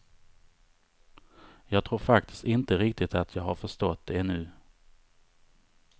Jag tror faktiskt inte riktigt att jag har förstått det ännu.